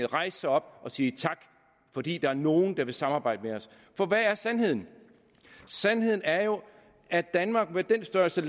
rejse sig op og sige tak fordi der er nogle der vil samarbejde med os for hvad er sandheden sandheden er jo at danmark med den størrelse